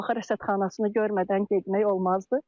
Şamaxı rəsədxanasını görmədən getmək olmazdı.